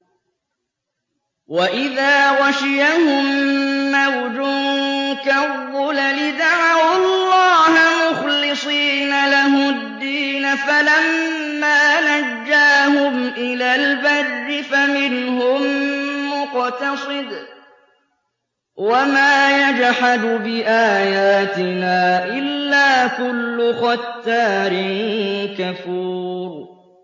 وَإِذَا غَشِيَهُم مَّوْجٌ كَالظُّلَلِ دَعَوُا اللَّهَ مُخْلِصِينَ لَهُ الدِّينَ فَلَمَّا نَجَّاهُمْ إِلَى الْبَرِّ فَمِنْهُم مُّقْتَصِدٌ ۚ وَمَا يَجْحَدُ بِآيَاتِنَا إِلَّا كُلُّ خَتَّارٍ كَفُورٍ